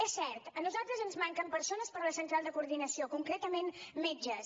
és cert a nosaltres ens manquen persones per a la central de coordinació concretament metges